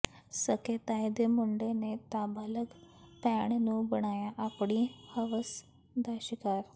ਸਕੇ ਤਾਏ ਦੇ ਮੁੰਡੇ ਨੇ ਨਾਬਾਲਗ ਭੈਣ ਨੂੰ ਬਣਾਇਆ ਆਪਣੀ ਹਵਸ ਦਾ ਸ਼ਿਕਾਰ